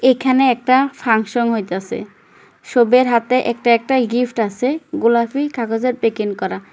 এখানে একটা ফাংশন হইতাছে সবার হাতে একটা একটা গিফট আছে গোলাপি কাগজের প্যাকিং করা ।